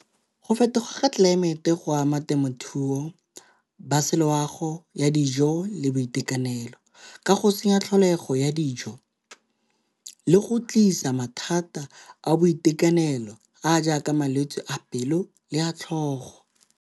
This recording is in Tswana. Go fetoga ga tlelaemete go ama temothuo ba se loago ya dijo le boitekanelo, ka go senya tlholego ya dijo le go tlisa mathata a boitekanelo a jaaka malwetse a pelo le a tlhogo.